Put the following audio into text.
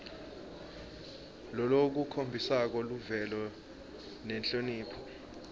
lolukhombisa luvelo nenhlonipho